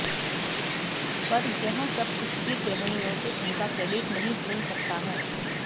पर यह सब कुछ भी गृहिणियों से उनका क्रेडिट नहीं छीन सकता है